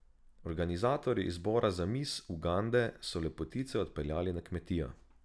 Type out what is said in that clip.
Organizatorji izbora za mis Ugande so lepotice odpeljali na kmetijo.